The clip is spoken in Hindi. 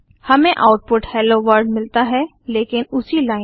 हमें आउटपुट हेलो वर्ल्ड मिलता है लेकिन उसी लाइन पर